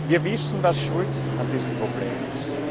Wir wissen, was schuld an diesem Problem ist.